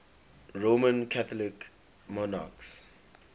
roman catholic monarchs